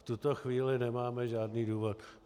V tuto chvíli nemáme žádný důvod.